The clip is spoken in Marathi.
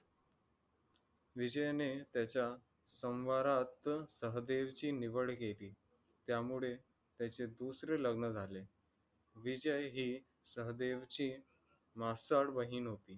विजयने त्याचा संव्हारात सहदेवची निवड केली. त्यामुळे त्याचे दुसरे लग्न झाले. विजय हि सहदेवची मासाळ बहिण होती.